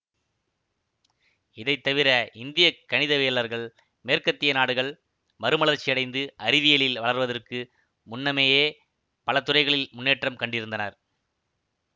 இதைத்தவிர இந்திய கணிதவியலர்கள் மேற்கத்தியநாடுகள் மறுமலர்ச்சியடைந்து அறிவியலில் வளர்வதற்கு முன்னமேயே பலதுறைகளில் முன்னேற்றம் கண்டிருந்தனர்